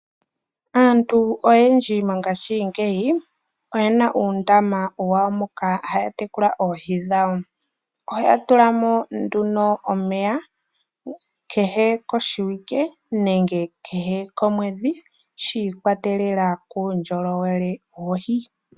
Aantu oyendji mongaashingeyi oyena uundama wawo moka haya tekula oohi dhawo. Ohaya tula mo nduno omeya kehe koshiwike nenge kehe komwedhi shiikwatelela kuundjolowele woohi.